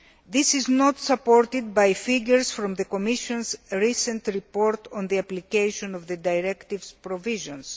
This is not supported by figures from the Commission's recent report on the application of the directive's provisions.